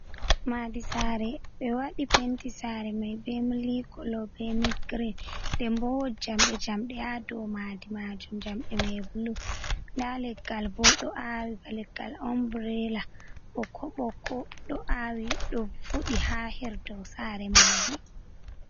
Madi sare ɓe waɗi penti, sare mai be mili kolo be mid girin, dembo wod jamɗe jamɗe ha dow madi majum, jamɗe mai bulu nda leggal bo ɗo awi baleggal omburela ɓokko ɓokko ɗo awi ɗo fuɗi ha herdow sare majum.